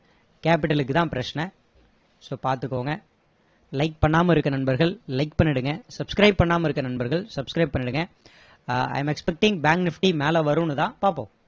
capital க்கு தான் பிரச்சனை so பாத்துகோங்க like பண்ணாம இருக்க நண்பர்கள் like பண்ணிடுங்க subscribe பண்ணாம இருக்க நண்பர்கள் subscribe பண்ணிடுங்க i am expecting bank nifty மேல வரும்னு தான் பாப்போம்